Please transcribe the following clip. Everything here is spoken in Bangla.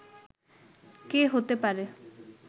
কে হতে পারে